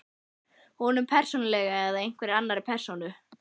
Honum, persónulega, eða einhverri annarri persónu?